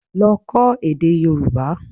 Lọ kọ́ èdè Yorùbá